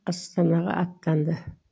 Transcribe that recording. астанаға аттанды